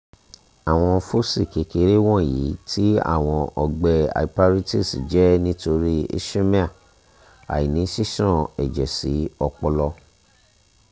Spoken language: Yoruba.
awọn foci kekere wọnyi ti awọn ọgbẹ hyperintese jẹ nitori ischemia (aini sisan ẹjẹ si ọpọlọ)